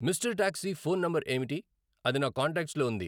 mister taxi phone number ఏమిటి అది నా కాంటాక్ట్స్లో ఉంది